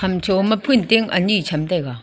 ham chu ma phun ting anyi cham taiga.